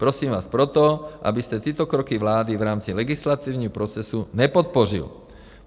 Prosím vás proto, abyste tyto kroky vlády v rámci legislativního procesu nepodpořil."